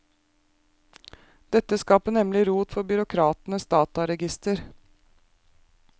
Dette skaper nemlig rot for byråkratenes dataregister.